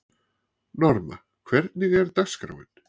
Norma, hvernig er dagskráin?